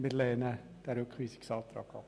Wir lehnen den Rückweisungsantrag ab.